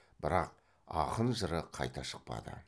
бірақ ақын жыры қайта шықпады